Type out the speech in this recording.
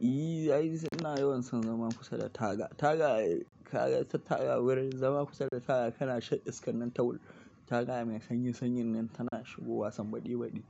Ni ai ina yawan son zama kusa da taga. Taga, taga wurin zama kusa da taga kana shan iskar nan kawai Taga mai sanyi, sanyin nan tana shigowa san baɗe baɗe,